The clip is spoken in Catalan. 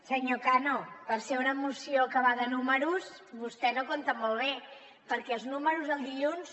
senyor cano per ser una moció que va de números vostè no compta molt bé perquè els números el dilluns